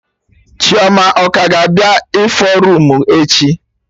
Chioma ọ ka ga-abịa ịfụ roomu echi?